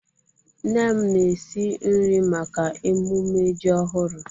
Nne m na-esi nri maka emume ji ọhụrụ.